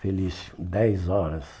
Felício, dez horas.